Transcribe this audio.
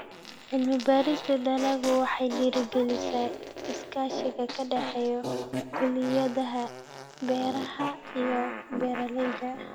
Cilmi-baarista dalaggu waxay dhiirigelisaa iskaashiga ka dhexeeya kulliyadaha beeraha iyo beeralayda.